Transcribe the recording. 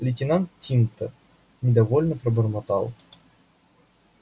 лейтенант тинтер недовольно пробормотал